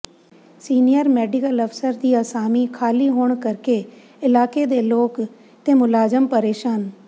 senior medical ਅਫ਼ਸਰ ਦੀ ਅਸਾਮੀ ਖ਼ਾਲੀ ਹੋਣ ਕਰਕੇ ਇਲਾਕੇ ਦੇ ਲੋਕ ਤੇ ਮੁਲਾਜ਼ਮ ਪ੍ਰੇਸ਼ਾਨ